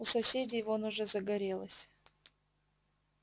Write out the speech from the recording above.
у соседей вон уже загорелось